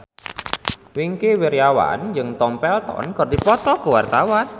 Wingky Wiryawan jeung Tom Felton keur dipoto ku wartawan